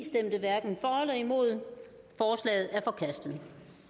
god ro